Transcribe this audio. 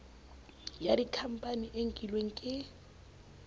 ya dikhampani e nkilweng ke